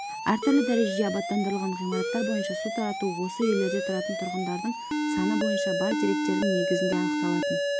әртүрлі дәрежеде абаттандырылған ғимараттар бойынша су тарату осы үйлерде тұратын тұрғындардың саны бойынша бар деректердің негізінде анықталатын